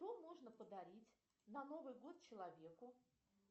что можно подарить на новый год человеку